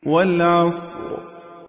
وَالْعَصْرِ